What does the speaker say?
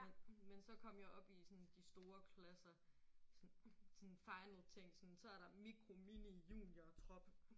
Men men så kom jeg op i sådan de store klasser sådan sådan final ting sådan så er der mikro mini junior trop